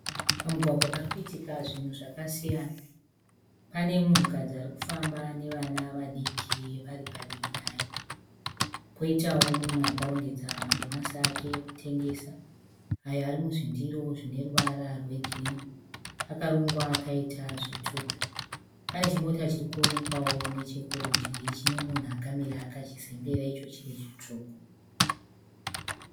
Pamugwaga parikuitika zvinhu zvakasiyana . Pane munhukadzi arikufamba nevana vadiki vari padivi naye. Poitawo mumwe akarongedza madomasi ake ekutengesa. Ayo ari muzvindiro zvine ruvara rwe giqrinhi. Akarongwa akaita zvitutu. Pane chimota chirikuonekawo nechekurudyi chine munhu akamira akachizembera icho chiri chitsvuku.